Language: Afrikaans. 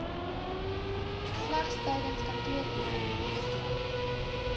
slegs tydens kantoorure